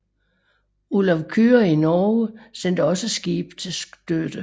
Olav Kyrre i Norge sendte også skibe til støtte